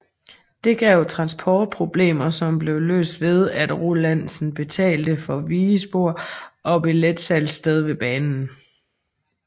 Det gav transportproblemer som blev løst ved at Rolandsen betalte for vigespor og billetsalgssted ved banen